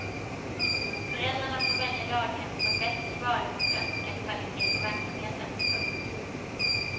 Föräldrarna får välja daghem som bäst svarar mot önskad kvalitet på verksamheten. punkt